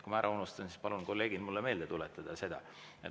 Kui ma ära unustan, siis palun teid, kolleegid, mulle seda meelde tuletada.